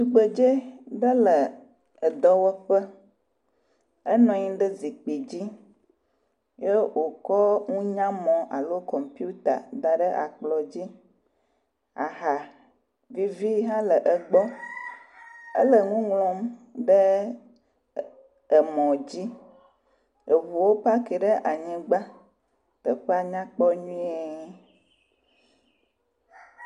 Atikutsetse vovovowo le kplɔ dzi. Flga hã le kplɔ la ŋu eye kusi hã le anyigba. Amewo le fli me be yewoa ƒle nu. Enu ɖuɖu kple nudzadzra vovovowo le kplɔ dzi.